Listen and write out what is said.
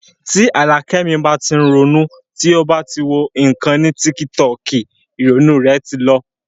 Tí Àlàkẹ́ mi bá tí ń ronú, tí ó bá ti wọ ìkànnì tíkítọọ̀kì, ìrònú rẹ̀ ti lọ